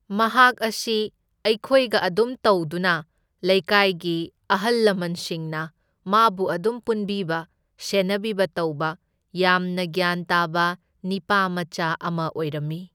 ꯃꯍꯥꯛ ꯑꯁꯤ ꯑꯩꯈꯣꯏꯒ ꯑꯗꯨꯝ ꯇꯧꯗꯨꯅ ꯂꯩꯀꯥꯏꯒꯤ ꯑꯍꯜ ꯂꯃꯟꯁꯤꯡꯅ ꯃꯥꯕꯨ ꯑꯗꯨꯝ ꯄꯨꯟꯕꯤꯕ ꯁꯦꯟꯅꯕꯤꯕ ꯇꯧꯕ, ꯌꯥꯝꯅ ꯒ꯭ꯌꯥꯟ ꯇꯥꯕ ꯅꯤꯄꯥꯃꯆꯥ ꯑꯃ ꯑꯣꯏꯔꯝꯃꯤ꯫